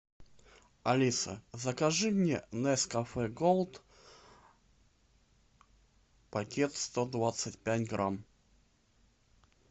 алиса закажи мне нескафе голд пакет сто двадцать пять грамм